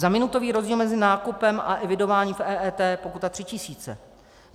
Za minutový rozdíl mezi nákupem a evidováním v EET pokuta 3 tisíce.